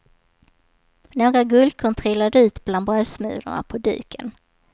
Några guldkorn trillade ut bland brödsmulorna på duken.